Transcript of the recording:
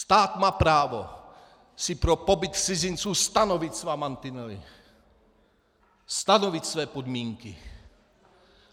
Stát má právo si pro pobyt cizinců stanovit své mantinely, stanovit své podmínky.